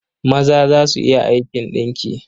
Maza za su iya aikin ɗinki.